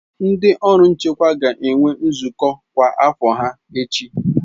Ndị ọrụ nchekwa ga-enwe nzukọ kwa afo ha echi.